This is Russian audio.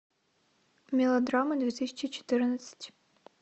мелодрама две тысячи четырнадцать